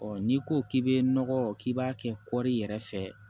n'i ko k'i bɛ nɔgɔ k'i b'a kɛ kɔɔri yɛrɛ fɛ